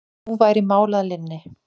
Nú væri mál að linni.